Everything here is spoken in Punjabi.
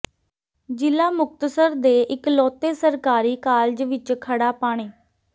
ਜ਼ਿਲ੍ਹਾ ਮੁਕਤਸਰ ਦੇ ਇਕਲੌਤੇ ਸਰਕਾਰੀ ਕਾਲਜ ਵਿੱਚ ਖੜ੍ਹਾ ਪਾਣੀ